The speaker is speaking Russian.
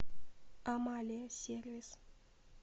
амалия сервис